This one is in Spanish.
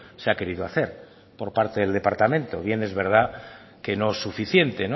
se ha querido hacer por parte del departamento bien es verdad que no suficiente